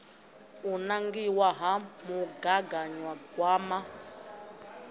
ya u nangiwa ha mugaganyagwama